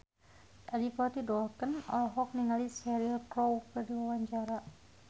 Adipati Dolken olohok ningali Cheryl Crow keur diwawancara